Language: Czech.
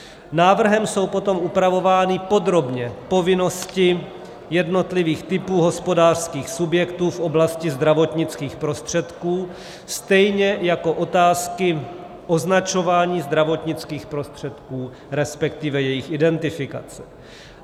Návrhem jsou potom upravovány podrobně povinnosti jednotlivých typů hospodářských subjektů v oblasti zdravotnických prostředků, stejně jako otázky označování zdravotnických prostředků, respektive jejich identifikace.